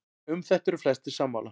um þetta eru flestir sammála